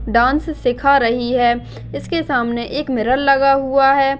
Dance सीखा रही है इसके सामने एक मिरर लगा हुआ है।